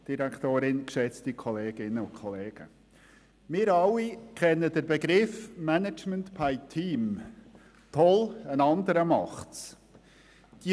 Wir alle kennen den Begriff «management by team» – «Toll, ein anderer macht es!».